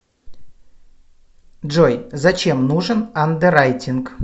джой зачем нужен андеррайтинг